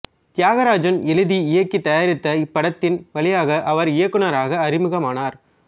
தியாகராஜன் எழுதி இயக்கி தயாரித்த இப்படத்தின் வழியாக அவர் இயக்குநராக அறிமுகமானார்